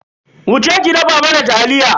Wuce ki dafa mana taliya.